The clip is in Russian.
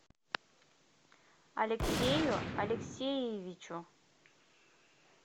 алексею алексеевичу